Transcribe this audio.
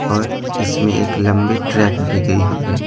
और इसमें एक लंबी ट्रैक भी दी गई हुई है।